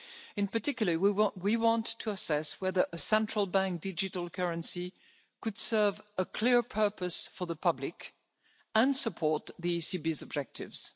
In particular, we want to assess whether a central bank digital currency could serve a clear purpose for the public and support the ECB's objectives.